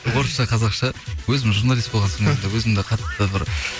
орысша қазақша өзім журналист болған соң өзімді қатты бір